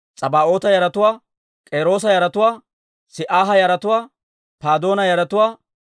Hagaaba yaratuwaa, Shamilaaya yaratuwaa, Hanaana yaratuwaa,